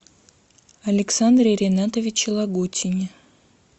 александре ринатовиче лагутине